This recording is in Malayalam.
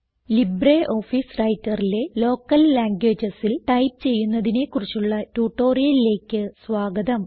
ലിബ്രിയോഫീസ് Writerലെ ലോക്കൽ ലാംഗ്വേജസിൽ ടൈപ്പ് ചെയ്യുന്നതിനെ കുറിച്ചുള്ള ട്യൂട്ടോറിയലിലേക്ക് സ്വാഗതം